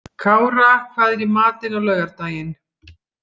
Kára, hvað er í matinn á laugardaginn?